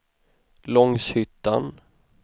Långshyttan